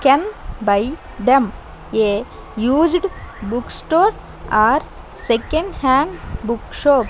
can buy them a used book store or second hand book shop.